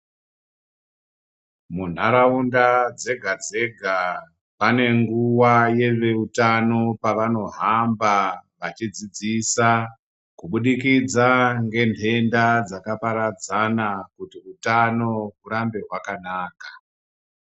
Munharaunda dzega dzega pane nguwa yeveutano pavanohamba vachidzidzisa kubudikidza ngenhenda dzakaparadzana kuti utano hurambe hwakanaka.